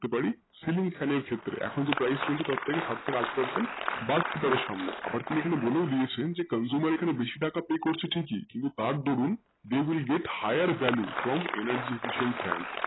হতে পারি celing fan এর ক্ষেত্রে এখন যে price চলছে সাত থাকে আট percent আবার আমি এইখানে বলেও দিয়েছি যে consumer এ খানে বেশি টাকা pay করেছে কিন্তু তার দরুন যেই গুলো যার higher value from energy efficience fans